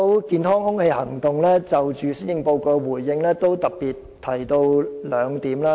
健康空氣行動就施政報告作出回應時曾特別提出兩點。